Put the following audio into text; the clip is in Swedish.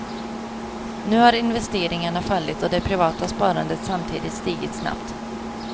Nu har investeringarna fallit och det privata sparandet samtidigt stigit snabbt.